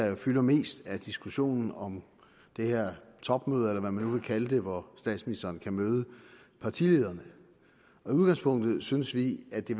der fylder mest er diskussionen om det her topmøde eller hvad man nu vil kalde det hvor statsministeren kan møde partilederne i udgangspunktet synes vi at det